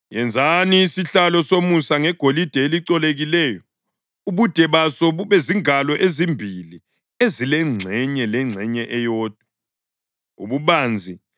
Yenzani isihlalo somusa ngegolide elicolekileyo, ubude baso bube zingalo ezimbili ezilengxenye lengxenye eyodwa ububanzi.